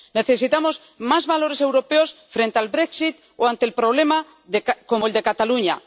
Necesitamos más valores europeos frente al brexit o ante un problema como el de Cataluña.